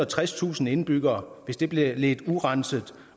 og tredstusind indbyggere hvis det bliver ledt urenset